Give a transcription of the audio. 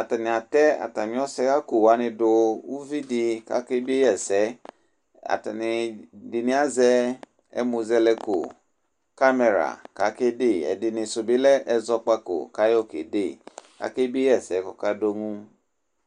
atani atɛ atami ɔsɛɣakò wani do uvi di k'ake bie yi ɛsɛ atani ɛdini azɛ ɛmuzɛlɛko kamɛra k'ake de ɛdini su bi lɛ ɛzɔkpako k'ayɔ ke de k'ake bie yi ɛsɛ k'oka do ŋu.